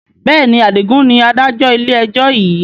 Bẹ́ẹ̀ni, Adigun ni Adájọ́ ilé ẹjọ́ yiii